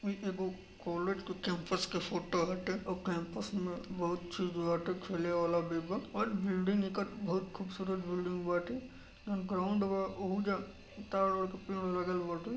ओमे एगो कॉलेज के कैम्पस के फोटो हटे और कैम्पस में बहुत चीज बाटे खेले वाला भी बा और बिल्डिंग एकर बहुत खूबसूरत बिल्डिंग बाटे जौन ग्राउन्ड बा ओहु जा ताड़ ओड़ के पेड़ ओड़ लगल बाटे।